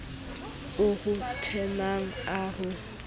o ho tenang a ho